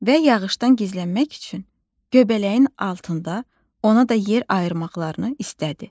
Və yağışdan gizlənmək üçün göbələyin altında ona da yer ayırmaqlarını istədi.